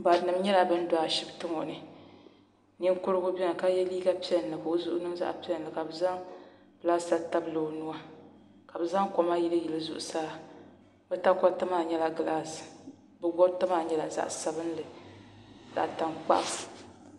Barinima nyɛla ban do ashipti ŋɔ ni Ninkurigu biɛni ka ye liiga piɛlli ka o zuɣu niŋ zaɣa piɛlli ka bɛ zaŋ pilasita tabili o nua ka bɛ zaŋ koma yili yili zuɣusaa bɛ takoriti maa nyɛla gilaasi bɛ goriti maa nyɛla zaɣa sabinli zaɣa tankpaɣu.